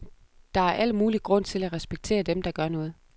Der er al mulig grund til at respektere dem, der gør noget.